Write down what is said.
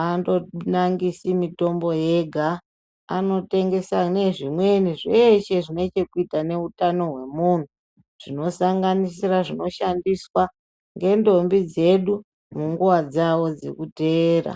andonangisi mitombo yega anotengesa nezvimweni zveshe zvine chekuita neutano hwemunhu zvinosanganisire zvinoshandiswa ngendombi dzedu munguwa dzawo dzekuteera.